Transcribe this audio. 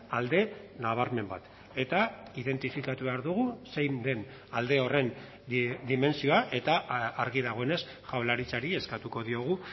alde nabarmen bat eta identifikatu behar dugu zein den alde horren dimentsioa eta argi dagoenez jaurlaritzari eskatuko diogu